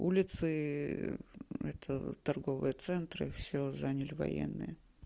улицы это торговые центры всё заняли военные